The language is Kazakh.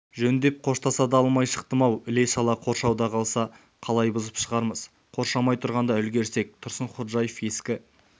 жөндеп қоштаса да алмай шықтым-ау іле-шала қоршауда қалса қалай бұзып шығарамыз қоршамай тұрғанда үлгірсек тұрсынходжаев ескі